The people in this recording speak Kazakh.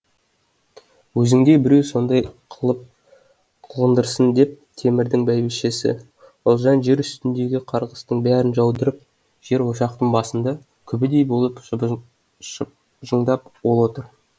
өзіңдей біреу сондай қылып қылғындырсын деп темірдің бәйбішесі ұлжан жер үстіндегі қарғыстың бәрін жаудырып жер ошақтың басында күбідей болып шыбжыңдап ол отыр